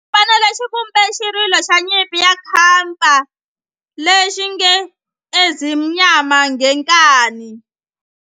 Xipano lexi xi vumbe xirilo xa nyimpi xa kampa lexi nge Ezimnyama Ngenkani.